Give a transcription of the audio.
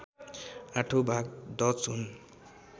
आठौँ भाग डच हुन्